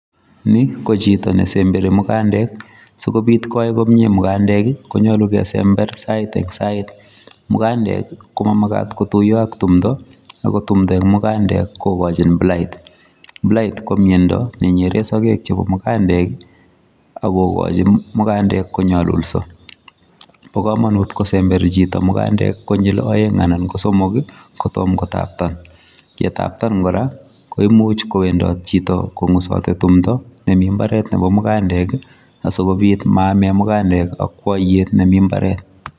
Ni ko chito nesemberi mugandek. Sikobit koyai komyee mugandek, konyolu kesember sait eng' sait. Mugandek, ko mamagat kotuyo ak tumdo, ago tumdo eng' mugandek kokochin blight. Blight ko myondo nenyeree sagek chebo mugandek, akogochin mugandek konyolulso. Bo komonut kosember chito mugandek konyil aeng' anan ko somok, kotomo kotaptan. Yetaptan kora, koimuch kowendot chito kongusoti tumdo nemi mbaret nebo mugandek, asigobit maame mugandek akwaiyet nemi mbaret.